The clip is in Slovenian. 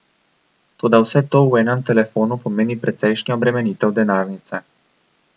Toda vse to v enem telefonu pomeni precejšnjo obremenitev denarnice.